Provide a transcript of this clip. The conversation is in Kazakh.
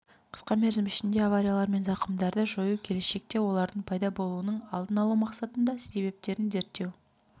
қысқа мерзім ішінде авариялар мен зақымдарды жою келешекте олардың пайда болуының алдын алу мақсатында себептерін зерттеу